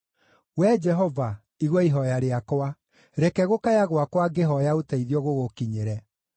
Wee Jehova, igua ihooya rĩakwa; reke gũkaya gwakwa ngĩhooya ũteithio gũgũkinyĩre.